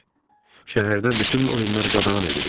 Şəhərdə bütün oyunlar qadağan edilir.